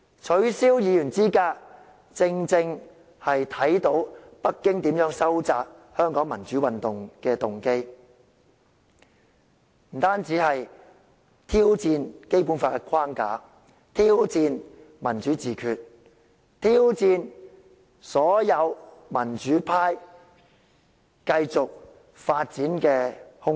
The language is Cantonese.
取消議員資格，正正體現北京意欲打壓香港民主運動的動機，不單是挑戰《基本法》的框架，更挑戰民主自決、挑戰所有民主派繼續發展的空間。